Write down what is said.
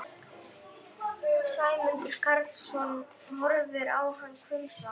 Sæmundur Karlsson horfir á hann hvumsa.